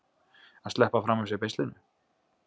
Að sleppa fram af sér beislinu